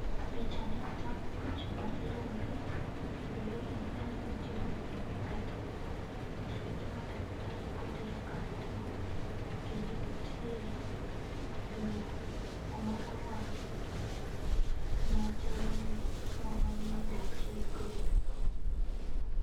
Picha ni tang'o picha mar lori kendo lori no nere noting'o lo kata kit matafari kotero kamoro. Kendo nitie lo kuma owang' machalo ni nowang' ma idwa ti godo.